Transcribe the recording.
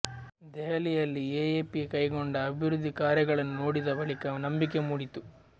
ದೆಹಲಿಯಲ್ಲಿ ಎಎಪಿ ಕೈಗೊಂಡ ಅಭಿವೃದ್ಧಿ ಕಾರ್ಯಗಳನ್ನು ನೋಡಿದ ಬಳಿಕ ನಂಬಿಕೆ ಮೂಡಿತು